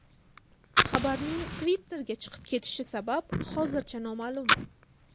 Xabarning Twitter’ga chiqib ketishi sabab hozircha noma’lum.